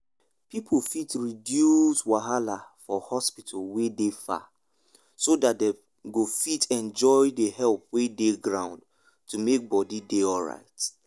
people fit reduce wahala for hospital wey dey far so that dem go fit enjoy the help wey dey ground to make body dey alright.